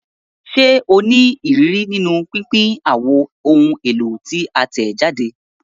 Ṣe o ni iriri ni pinpin awọn ohun elo ti a tẹjade?